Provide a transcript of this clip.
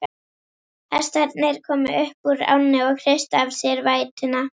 Hestarnir komu upp úr ánni og hristu af sér vætuna.